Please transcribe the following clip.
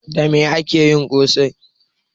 Da mai ake yin ƙosai?